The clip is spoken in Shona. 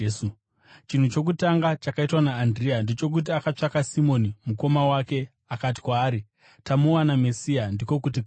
Chinhu chokutanga chakaitwa naAndirea ndechokuti akatsvaka Simoni mukoma wake akati kwaari, “Tamuwana Mesiya” (ndiko kuti Kristu).